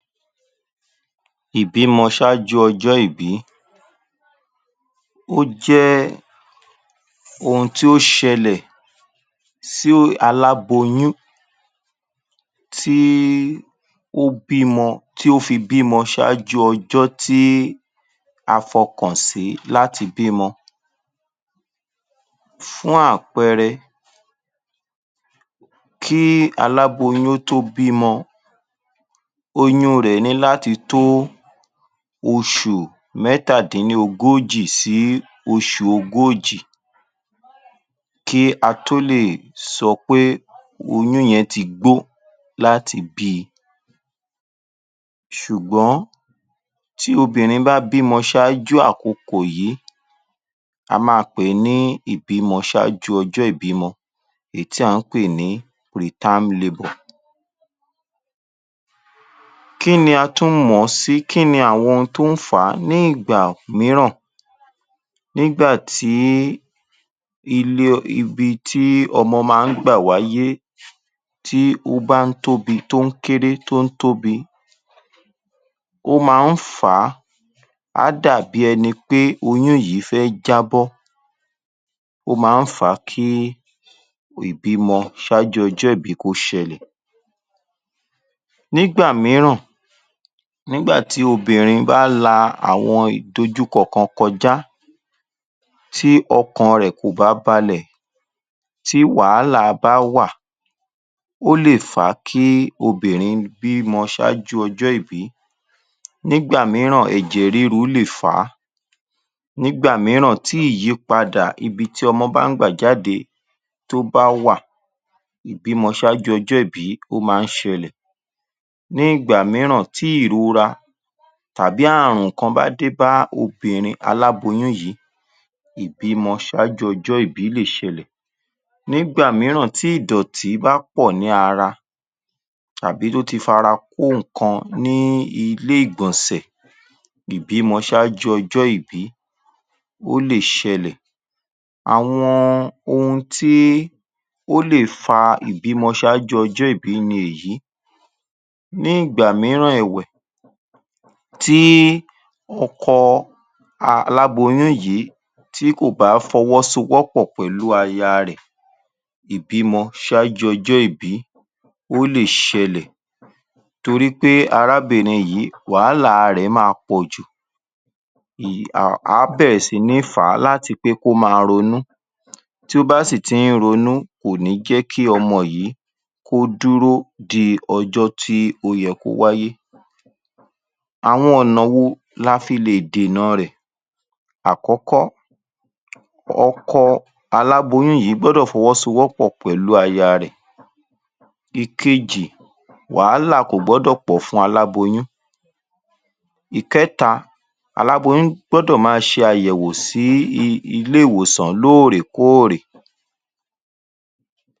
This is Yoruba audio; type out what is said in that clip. Ìbímọ ṣáájú ọjọ́ ìbí ó jẹ́ ohun tí ó ṣẹlẹ̀ sí aláboyún tí kó bímọ tí ó fi bímọ ṣáájú ọjọ́ tí a fọ̀kàn sí láti bímọ. Fún àpẹẹrẹ kí aláboyún tó bímọ óyun un rẹ̀ ní láti tó oṣù mẹ́tàdínlógún sí oṣù ogójì kí a tó lè sọ pé oyún yẹn ti gbó láti bí i ṣùgbọ́n tí obìnrin bá bímọ ṣáájú àkokò yí a máa pè é ní ìbímọ ṣáájú ọjọ́ ìbímọ èyí tí à ń pè ní Preterm labour. Kí ni a tún mọ̀ ọ́n sí? Kí ni àwọn ohun tó ń fà á? Ní ìgbà míràn nígbà tí ile ibi tí ọmọ ma ń gbà wáyé tí ó bá ń tóbi tó ń kéré tó ń tóbi ó ma ń fà á á dà bí ẹni pé oyún yìí fẹ́ jábọ́ ó ma ń fà á kí ìbímọ ṣáájú ọjọ́ ìbí kọ́ ṣẹlẹ̀. Nígbà míràn nígbà tí obìnrin bá la àwọn ìdojúkọ kan kọjá tí ọkàn rẹ̀ kò bá balẹ̀ tí wàhálà bá wà ó lè fà á kí obìnrin bímọ ṣáájú ọjọ́ ìbí, nígbà míràn ẹ̀jẹ̀ ríru lè fà á, nígbà míràn tí ìyípadà ibi tí ọmọ bá ń gbà jáde tó bá wà ìbímọ ṣáájú ọjọ ìbí ó ma ń ṣẹlẹ̀, ní ìgbà míràn tí ìrora tàbí àrùn kan bá dé bá obìnrin aláboyún yìí ìbímọ ṣáajú ọjọ́ ìbí lè ṣẹlẹ̀, nígbà míràn tí ìdọ̀tí bá pọ̀ ní ara tàbí tó ti fara kó ǹkan ní ilé-ìgbọ̀nsẹ̀ ìbímọ ṣáájú ọjọ́ ìbí ó lè ṣẹlẹ̀. Àwọn ohun tí ó lè fa ìbímọ ṣáájú ọjọ́ ìbí ni èyí ní ìgbà míràn ẹ̀wẹ̀ tí ọkọ aláboyún yìí tí kò bá fọwọ́sọwọ́pọ̀ pẹ̀lú aya rẹ̀ ìbímọ ṣáájú ọjọ́ ìbí ó lè ṣẹlẹ̀ torí pé arábìnrin yìí wàhálà rẹ̀ ó máa pọ̀ jù èyí um á bẹ̀rẹ̀ sí ní fà á láti pé kó ma ronú tí ó bá sì ti ń ronú kò ní jẹ́ kí ọmọ yìí kó dúró di ọjọ́ tí ó yẹ kó wáyé. Àwọn ọ̀nà wo ni a fi lè dènà-an rẹ̀: Àkọ́kọ́- ọkọ aláboyún yìí gbọ́dọ̀ fọwọ́sowọ́pọ̀ pẹ̀lú aya rẹ̀. Ìkejì- Wàhálà kò gbọ́dọ̀ pọ̀ fún aláboyún. Ìkẹ́ta- Aláboyún gbọ́dọ̀ máa ṣe àyẹ̀wò sí ilé-ìwòsàn lóòrèkóòrè.